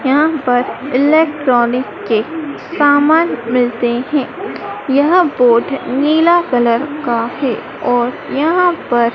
यहां पर इलेक्ट्रॉनिक के सामान मिलते है यह बोड नीला कलर का है और यहां पर--